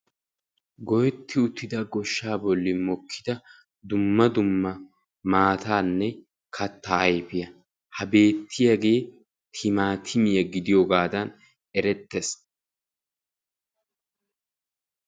Loytti uttidda goshshaa bollan mokki uttidaage hagee timatimmiya gidiyoogadan ereetees.